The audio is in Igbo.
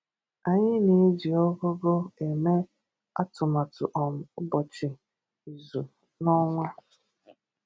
Anyị na-eji ụgụgụ emè àtùmàtù um ụbọchị, izu, na ọnwa.